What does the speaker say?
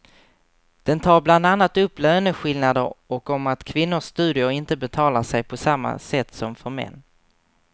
Den tar bland annat upp löneskillnader och om att kvinnors studier inte betalar sig på samma sätt som för män.